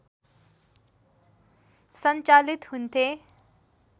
सञ्चालित हुन्थे